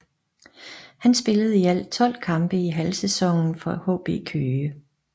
Han spillede i alt tolv kampe i halvsæsonen for HB Køge